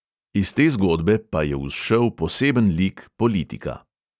Iz te zgodbe pa je vzšel poseben lik politika.